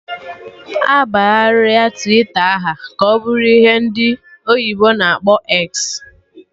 Abagharị Twita aha ka ọ bụrụ ihe ndị oyibo na akpọ 'eksi'